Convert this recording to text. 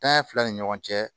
Tanya fila ni ɲɔgɔn cɛ